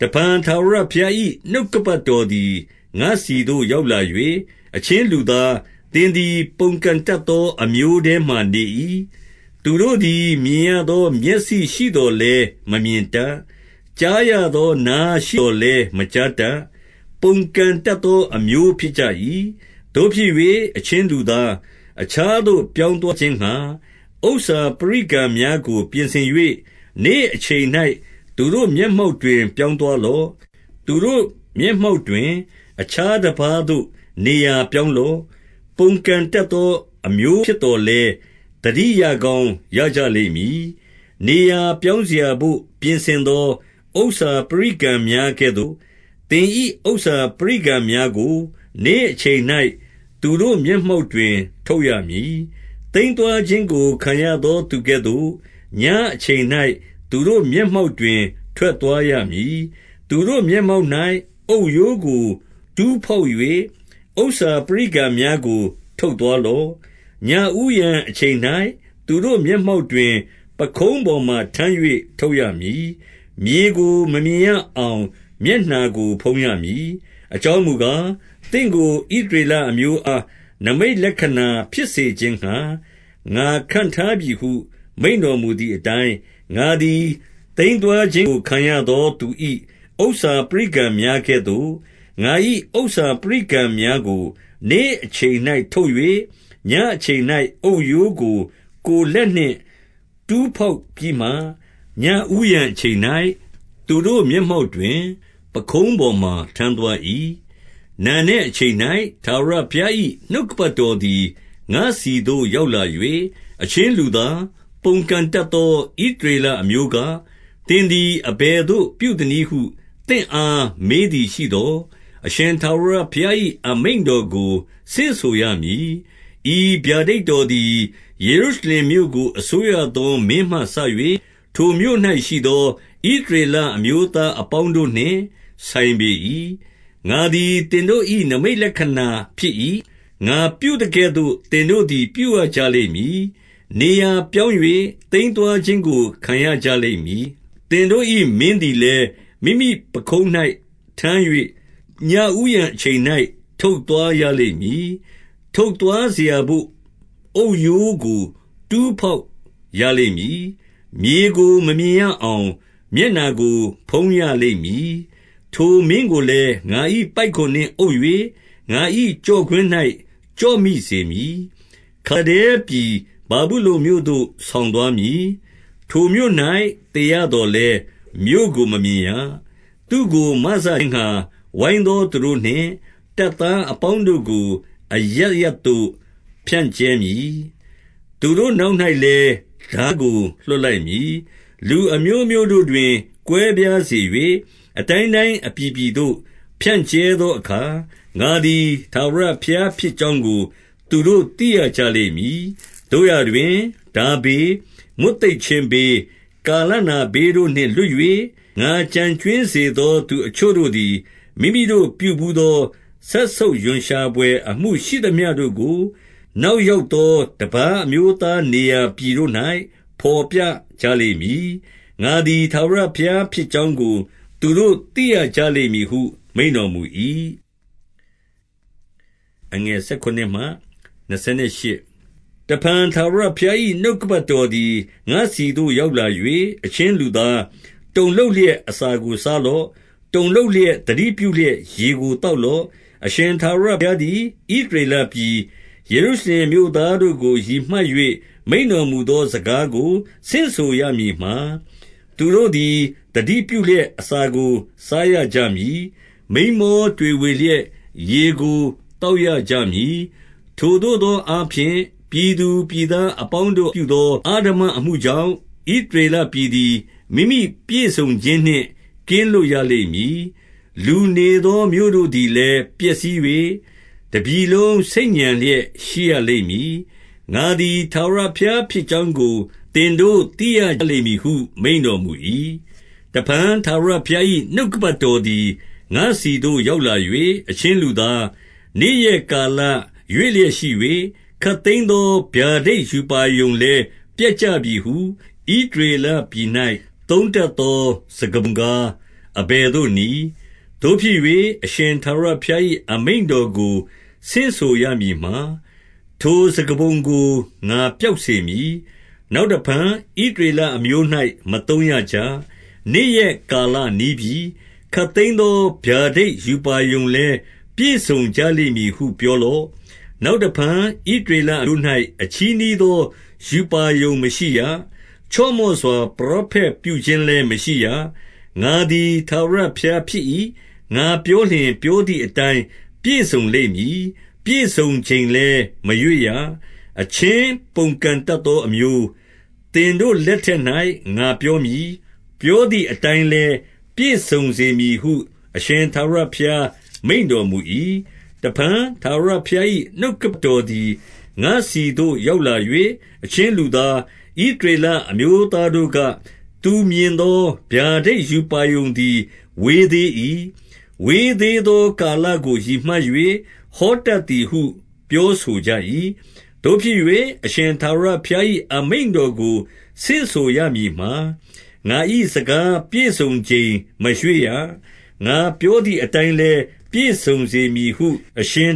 တဖန်ထာဝရဘုရား၏ နှုတ်ကပတ်တော်သည် ငါ့ဆီသို့ရောက်လာ၍၊ 2 အချင်းလူသား၊ သင်သည်ပုန်ကန်တတ်သော အမျိုးထဲမှာနေ၏။ သူတို့သည် မြင်ရသော မျက်စိ ရှိသော်လည်း မမြင်တတ်။ ကြားရသော နားရှိသော် လည်း မကြားတတ်။ ပုန်ကန်တတ်သော အမျိုးဖြစ်ကြ၏။ 3 သို့ဖြစ်၍၊ အချင်းလူသား၊ အခြားသို့ ပြောင်း သွားခြင်းငှါ ဥစ္စာပရိကံများကို ပြင်ဆင်၍၊ နေ့အချိန်၌ သူတို့မျက်မှောက်တွင် ပြောင်းသွားလော့။ သူတို့မျက် မှောက်တွင် အခြားတပါးသို့နေရာပြောင်းလော့။ ပုန်ကန် တတ်သော အမျိုးဖြစ်သော်လည်း၊ သတိရကောင်းရကြ လိမ့်မည်။ 4 နေရာပြောင်းစရာဘို့ ပြင်ဆင်သော ဥစ္စာပရိကံ များကဲ့သို့၊ သင်၏ ဥစ္စာပရိကံများကို နေ့အချိန်၌ သူတို့ မျက်မှောက်တွင် ထုတ်ရမည်။ သိမ်းသွားခြင်းကို ခံရသော သူကဲ့သို့၊ ညအချိန်၌ သူတို့မျက်မှောက်တွင် ထွက်သွား ရမည်။ 5 သူတို့မျက်မှောက်၌ အုတ်ရိုးကိုတူးဖောက်၍၊ ဥစ္စာ ပရိကံများကို ထုတ်သွားလော့။ 6 ညဦးယံအချိန်၌ သူတို့မျက်မှောက်တွင် ပခုံး ပေါ်မှာထမ်း၍ ထုတ်ရမည်။ မြေကိုမမြင်ရအောင် မျက်နှာကိုဖုံးရမည်။ အကြောင်းမူကား၊ သင့်ကို ဣသရေလအမျိုးအား နိမိတ်လက္ခဏာဖြစ်စေခြင်းငှါ ငါခန့်ထားပြီဟု မိန့်တော်မူသည်အတိုင်း၊ 7 ငါသည် သိမ်းသွားခြင်းကို ခံရသောသူ၏ ဥစ္စာပရိကံများကဲ့သို့၊ ငါ၏ဥစ္စာပရိကံများကို နေ့အချိန်၌ ထုတ်၍၊ ညအချိန်၌အုတ်ရိုးကို ကိုယ်လက်နှင့် တူးဖော် ပြီးမှ၊ ညဦးယံအချိန်၌သူတို့မျက်မှောက်တွင် ပခုံးပေါ်မှာ ထမ်းသွား၏။ 8 နံနက်အချိန်၌ ထာဝရဘုရား၏ နှုတ်ကပတ် တော်သည် ငါ့ဆီသို့ရောက်လာ၍၊ 9 အချင်းလူသား၊ ပုန်ကန်တတ်သော ဣသရေလ အမျိုးက၊ သင်သည်အဘယ်သို့ပြုသနည်းဟု သင့်အား မေးသည်ရှိသော်၊ 10 အရှင်ထာဝရဘုရား၏ အမိန့်တော်ကို ဆင့်ဆိုရ မည်။ ဤဗျာဒိတ်တော်သည် ယေရုရှလင်မြို့ကို အစိုးရ သော မင်းမှစ၍၊ ထိုမြို့၌ရှိသော ဣသရေလအမျိုးသား အပေါင်းတို့နှင့်ဆိုင်ပေ၏။ 11 ငါသည်သင်တို့၏ နိမိတ်လက္ခဏာဖြစ်၏။ ငါပြု သကဲ့သို့ သင်တို့သည် ပြုရကြလိမ့်မည်။ နေရာပြောင်း၍ သိမ်းသွားခြင်းကို ခံရကြလိမ့်မည်။ 12 သင်တို့၏ မင်းသည်လည်း၊ မိမိပခုံး၌ထမ်း၍ ညဦးယံအချိန်၌ ထုတ်သွားရလိမ့်မည်။ ထုတ်သွားစရာဘို့ အုတ်ရိုးကိုတူးဖော်ရလိမ့်မည်။ မြေကိုမမြင်ရအောင် မျက်နှာကိုဖုံးရလိမ့်မည်။ 13 ထိုမင်းကိုလည်း ငါ၏ပိုက်ကွန်နှင့်အုပ်၍၊ ငါ၏ ကျော့ကွင်း၌ ကျော့မိစေသည်။ ခါလဒဲပြည်ဗာဗုလုန်မြို့သို့ ဆောင်သွားမည်။ ထိုမြို့၌ သေရသော်လည်း မြို့ကို မမြင်ရ။ 14 သူ့ကိုမစခြင်းငှါ ဝိုင်းသောသူတို့နှင့် တပ်သား အပေါင်းတို့ကို အရပ်ရပ်သို့ဖြန့်ကြဲမည်။ သူတို့နောက်၌ လည်း ထားကို လွှတ်လိုက်မည်။ 15 လူအမျိုးမျိုးတို့တွင် ကွဲပြားစေ၍၊ အတိုင်းတိုင်း အပြည်ပြည်သို့ ဖြန့်ကြဲသောအခါ၊ ငါသည် ထာဝရ ဘုရားဖြစ်ကြောင်းကို သူတို့သိရကြလိမ့်မည်။ 16 သို့ရာတွင်၊ ထားဘေး၊မွတ်သိပ်ခြင်းဘေး၊ ကာလနာဘေးတို့နှင့် လွတ်၍၊ ငါကျန်ကြွင်းစေသော သူအချို့တို့သည် မိမိတို့ပြုဘူးသော စက်ဆုပ်ရွံ့ရှာဘွယ် အမှုရှိသမျှတို့ကို၊ နောက်ရောက်သော တပါးအမျိုးသား နေရာပြည်တို့၌ ဘော်ပြကြလိမ့်မည်။ ငါသည် ထာဝရ ဘုရားဖြစ်ကြောင်းကို သူတို့သိရကြလိမ့်မည်ဟု မိန့်တော် မူ၏။ 17 တဖန်ထာဝရဘုရား၏ နှုတ်ကပတ်တော်သည် ငါ့ဆီသို့ ရောက်လာ၍၊ 18 အချင်းလူသား၊ တုန်လှုပ်လျက်အစာကို စား လော့။ တုန်လှုပ်လျက်၊ သတိပြုလျက် ရေကိုသောက် လော့။ 19 အရှင်ထာဝရဘုရားသည် ဣသရေလပြည်၊ ယေရုရှလင်မြို့သားတို့ကို ရည်မှတ်၍ မိန့်တော်မူသော စကားကို ဆင့်ဆိုရမည်မှာ၊ သူတို့သည် သတိပြုလျက် အစာကို စားရကြမည်။ မိန်းမောတွေဝေလျက်ရေကို သောက်ရကြမည်။ ထိုသို့သောအားဖြင့်၊ ပြည်သူပြည်သား အပေါင်းတို့ပြုသော အဓမ္မအမှုကြောင့်၊ ဣသရေလပြည် သည် မိမိပြည့်စုံခြင်းနှင့် ကင်းလွတ်ရလိမ့်မည်။ 20 လူနေသောမြို့တို့သည်လည်း ပျက်စီး၍၊ တပြည်လုံးဆိတ်ညံလျက် ရှိရလိမ့်မည်။ ငါသည် ထာဝရ ဘုရားဖြစ်ကြောင်းကို သင်တို့သိရကြလိမ့်မည်ဟု မိန့်တော် မူ၏။ 21 တဖန်ထာဝရဘုရား၏ နှုတ်ကပတ်တော်သည် ငါ့ဆီသို့ ရောက်လာ၍၊ 22 အချင်းလူသား၊နေ့ရက်ကာလရွေ့လျက်ရှိ၍၊ ခပ်သိမ်းသော ဗျာဒိတ်ရူပါရုံလည်း ပျက်ကြပြီဟု၊ ဣသ ရေလပြည်၌ သုံးတတ်သော စကားပုံကား အဘယ်သို့ နည်း။ 23 သို့ဖြစ်၍၊ အရှင်ထာဝရဘုရား၏ အမိန့်တော်ကို ဆင့်ဆိုရမည်မှာ၊ ထိုစကားပုံကို ငါပျောက်စေမည်။ နောက်တဖန် ဣသရေလအမျိုး၌ မသုံးရကြ။ နေ့ရက် ကာလနီးပြီ။ ခပ်သိမ်းသော ဗျာဒိတ်ရူပါရုံလည်း ပြည့် စုံကြလိမ့်မည်ဟု ပြောလော့။ 24 နောက်တဖန် ဣသရေလအမျိုး၌ အချည်းနှီး သောရူပါရုံမရှိရ။ ချော့မော့စွာ ပရောဖက်ပြုခြင်းလည်း မရှိရ။ 25 ငါသည် ထာဝရဘုရားဖြစ်၏။ ငါပြောလျှင်၊ ပြောသည်အတိုင်း ပြည့်စုံလိမ့်မည်။ ပြည့်စုံချိန်လည်း မရွေ့ရ။ အချင်းပုန်ကန်တတ်သောအမျိုး၊ သင်တို့ လက်ထက်၌ ငါပြောမည်။ ပြောသည်အတိုင်းလည်း ပြည့်စုံစေမည်ဟု အရှင်ထာဝရဘုရားမိန့်တော်မူ၏။ 26 တဖန်ထာဝရဘုရား၏ နှုတ်ကပတ်တော်သည် ငါ့ဆီသို့ ရောက်လာ၍၊ 27 အချင်းလူသား၊ ဣသရေလအမျိုးသားတို့က၊ သူမြင်သော ဗျာဒိတ်ရူပါရုံသည် ဝေးသေး၏။ ဝေးသေး သောကာလကို ရည်မှတ်၍ ဟောတတ်သည်ဟု ပြောဆို ကြ၏။ 28 သို့ဖြစ်၍ အရှင်ထာဝရဘုရား၏ အမိန့်တော်ကို ဆင့်ဆိုရမည်မှာ၊ ငါ၏စကားပြည့်စုံချိန်မရွှေ့ရ။ ငါပြော သည်၊ အတိုင်းလည်း ပြည့်စုံစေမည်ဟု အရှင်